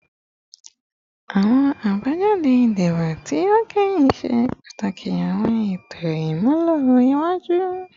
Awọn abajade idibo ti o kẹhin ṣe pataki awọn eto imulo iwaju